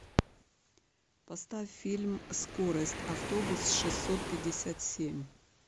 поставь фильм скорость автобус шестьсот пятьдесят семь